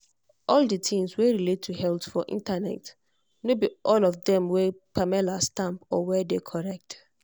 all the things wey relate to health for internet no be all of them wey wey pamela stamp or wey dey correct.